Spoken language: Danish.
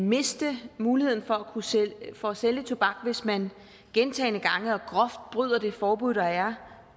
miste muligheden for at sælge tobak hvis man gentagne gange og groft bryder det forbud der er